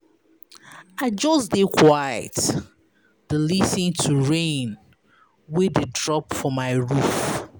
I just dey quiet dey lis ten to rain wey dey drop for my roof.